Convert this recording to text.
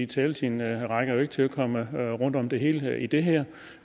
taletiden rækker jo ikke til at komme rundt om det hele i det her